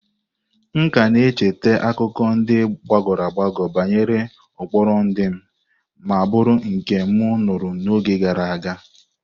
M ka na-echeta akụkọ ndị gbagoro agbago banyere ụkpụrụ ndị m maburu nke m nụrụ n'oge gara aga.